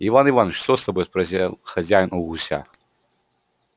иван иваныч что с тобой спросил хозяин у гуся